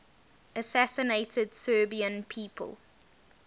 assassinated serbian people